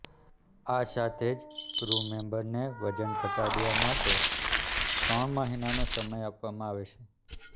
આ સાથે જ ક્રુ મેમ્બરને વજન ઘટાડવા માટે ત્રણ મહિનાનો સમય આપવામાં આવે છે